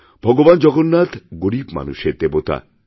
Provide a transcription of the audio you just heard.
ভগবান জগন্নাথ গরীব মানুষের দেবতা